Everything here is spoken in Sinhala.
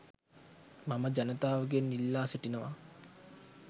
මම ජනතාවගෙන් ඉල්ලා සිටිනවා.